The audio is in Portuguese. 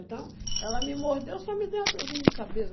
Então, ela me mordeu, só me deu uma dorzinha de cabeça.